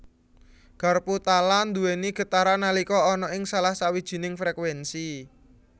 Garpu tala nduwéni getaran nalika ana ing salah sawijining frekuénsi